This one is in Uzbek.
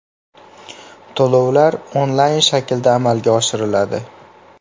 To‘lovlar onlayn shaklda amalga oshiriladi.